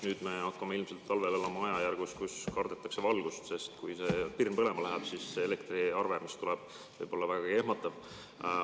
Nüüd me hakkame ilmselt talvel elama ajajärgus, kui kardetakse valgust, sest kui pirn põlema läheb, siis see elektriarve, mis tuleb, võib olla vägagi ehmatav.